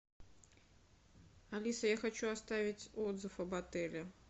алиса я хочу оставить отзыв об отеле